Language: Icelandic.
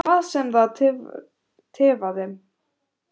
Hvað var það sem tifaði?